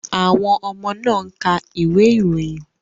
Àwọn ọmọ náà ń ka ìwé ìròyìn